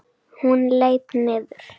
Hún leit niður.